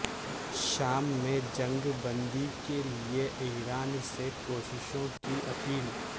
شام میں جنگ بندی کےلیے ایران سے کوششوں کی اپیل